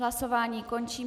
Hlasování končím.